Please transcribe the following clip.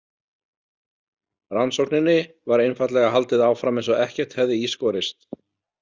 Rannsókninni var einfaldlega haldið áfram eins og ekkert hefði í skorist.